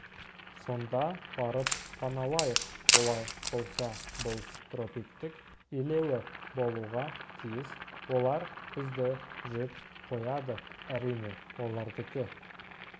сонда барып паналайық олай болса бұл тропиктік илеуі болуға тиіс олар бізді жеп қояды әрине олардікі